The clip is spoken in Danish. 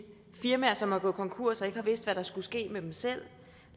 firmaer som er gået konkurs og ikke har vidst hvad der skulle ske med dem selv